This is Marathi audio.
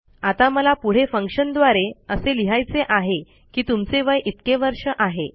आता मला पुढे फंक्शन द्वारे असे लिहायचे आहे की तुमचे वय इतके वर्ष आहे